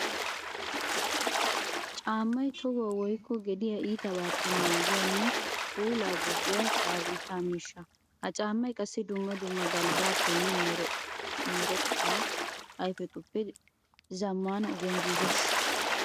Caammay tohuwa woykko gediya iittabaappe naagiyanne puula gujjiya pabirkka miishsha. Ha caamay qassi dumma dumma galbbappenne meretta ayfetuppe zamaana ogiyan giiges.